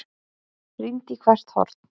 Rýndi í hvert horn.